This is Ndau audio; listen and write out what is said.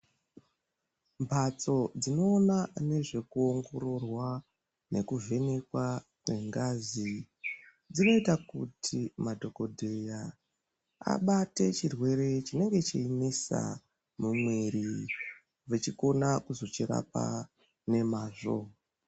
Mphatso dzinoona nezvekuongororwa nekuvhenekwa kwengazi, dzinoita kuti madhokodheya abate chirwere chinenge cheinesa mumwiri, vechikona kuzochirapa nemazvo.